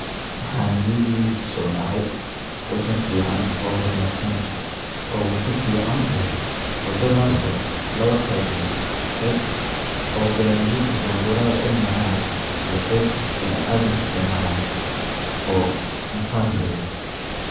Waxa niyadeida kusodacay wadan fican oo hormarsan oo wada fican leh wadadhas oo lawa qeyb leh, qeyb oo gariyadha baburadha ay maran ,iyo qeyb binaadanka ay maran oo nafas leh.